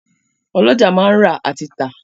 Ọ́lọjá máa ń rà àti tà